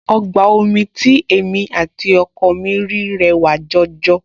Ọgbà omi tí èmi àti ọkọ mi rí rẹwà jọjọ